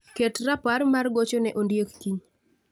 Ket rapar mar gocho ne Ondiek kiny